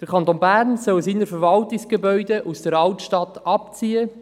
Der Kanton Bern soll seine Verwaltungsgebäude aus der Altstadt abziehen.